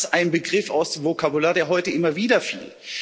Auch das ein Begriff aus dem Vokabular, der heute immer wieder fiel.